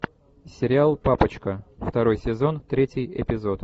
сериал папочка второй сезон третий эпизод